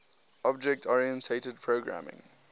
object oriented programming